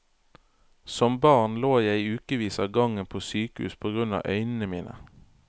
Som barn lå jeg i ukevis av gangen på sykehus på grunn av øynene mine.